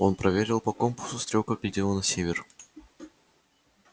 он проверил по компасу стрелка глядела на север